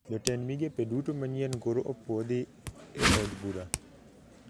Jotend migepe duto manyien koro opuodhi e od bura